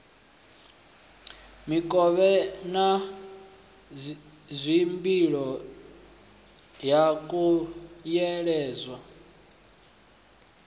mikovhe na dzimbilo ha khunyeledzwa